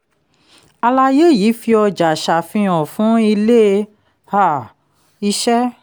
àlàyé yìí fi ọjà ṣàfihàn fún ilé um iṣẹ́